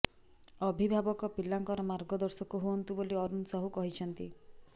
ଅଭିଭାବକ ପିଲାଙ୍କର ମାର୍ଗଦର୍ଶକ ହୁଅନ୍ତୁ ବୋଲି ଅରୁଣ ସାହୁ କହିଛନ୍ତି